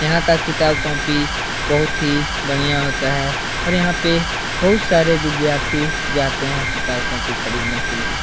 यहाँ का किताब कॉपी बहोत ही बढ़ियाँ होता है और यहाँ पे बहोत सारे विद्यार्थी जाते हैं किताब कॉपी खरीदने के लिए।